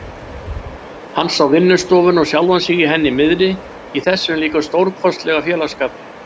Hann sá vinnustofuna og sjálfan sig í henni miðri, í þessum líka stórkostlega félagsskap.